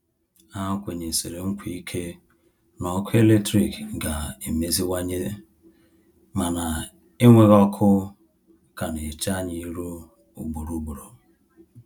Ha kwenyesiri nkwa ike na ọkụ eletrik ga-emeziwanye, mana enweghi ọkụ ka na-eche anyị irụ ugboro ugboro.